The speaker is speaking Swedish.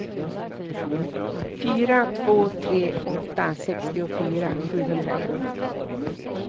fyra två tre åtta sextiofyra sjuhundraett